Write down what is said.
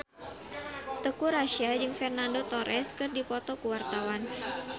Teuku Rassya jeung Fernando Torres keur dipoto ku wartawan